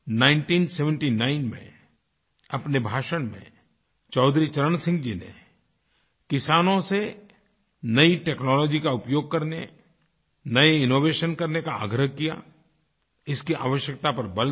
1979 में अपने भाषण में चौधरी चरण सिंह जी ने किसानों से नई टेक्नोलॉजी का उपयोग करनेनए इनोवेशन करने का आग्रह किया इसकी आवश्यकता पर बल दिया